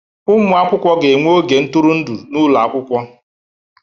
Ụmụ akwụkwọ ga-enwe oge ntụrụndụ n'ụlọ akwụkwọ